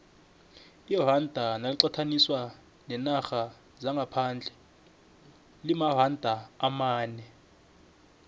iranda naliqathaniswa neenarha zangaphandle limaranda amane